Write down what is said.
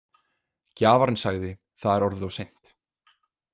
Gjafarinn sagði: Það er orðið of seint.